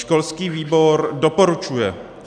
Školský výbor doporučuje.